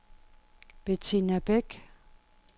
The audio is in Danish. Bettina Beck